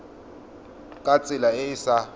ka tsela e e sa